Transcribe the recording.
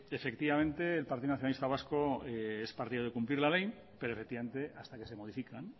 efectivamente el partido nacionalista vasco es partidario de cumplir la ley pero hasta que se modifican